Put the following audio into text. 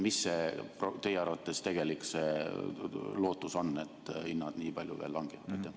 Milline teie arvates on tegelik lootus, et hinnad nii palju veel langevad?